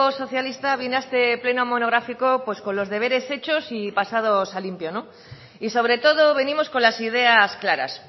socialista viene a este pleno monográfico con los deberes hechos y pasados a limpio y sobre todo venimos con las ideas claras